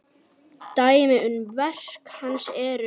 Dæmi um verk hans eru